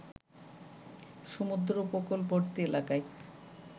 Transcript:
সমুদ্র উপকূলবর্তী এলাকায়